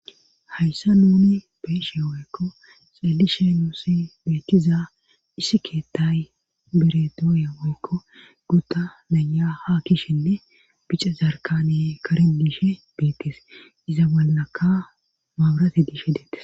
hayssa nuni beshe woyekko xelishe nuusi beetiza issi keettay bere doyeeekko guda danya ha kishenne bica zarkane karen diishe beettes iza ballaka maabarate diishe deettes